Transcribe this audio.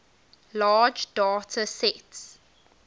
large data sets